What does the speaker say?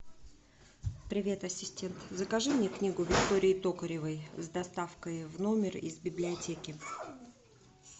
привет ассистент закажи мне книгу виктории токаревой с доставкой в номер из библиотеки